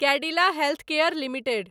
Cadila healthcare limited